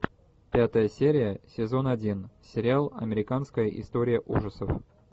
пятая серия сезон один сериал американская история ужасов